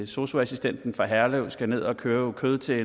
sosu assistenten fra herlev skal ned at købe kød til